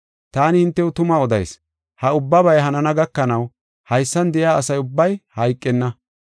Taani hintew tuma odayis; ha ubbabay hanana gakanaw haysan de7iya asa ubbay hayqenna.